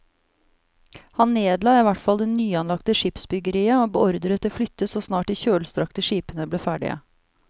Han nedla i hvert fall det nyanlagte skipsbyggeriet og beordret det flyttet så snart de kjølstrakte skipene ble ferdige.